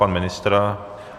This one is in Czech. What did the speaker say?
Pan ministr?